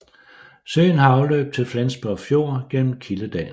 Søen har afløb til Flensborg Fjord gennem Kildedalen